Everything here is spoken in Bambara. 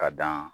Ka dan